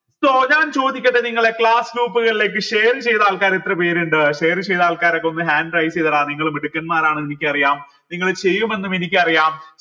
so ഞാൻ ചോദിക്കട്ടെ നിങ്ങളെ class group കളിലേക്ക് share ചെയ്ത ആൾക്കാർ എത്ര പേരിണ്ട് share ചെയ്ത ആൾക്കാരൊക്കെ ഒന്ന് hand raise ചെയ്തള നിങ്ങൾ മിടുക്കന്മാരാണെന്ന് എനിക്കറിയാം നിങ്ങള് ചെയ്യുമെന്നും എനിക്കറിയാം